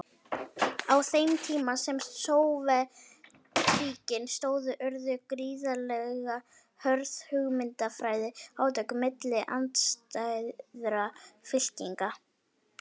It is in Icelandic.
Á þeim tíma sem Sovétríkin stóðu urðu gríðarlega hörð hugmyndafræðileg átök milli andstæðra fylkinga.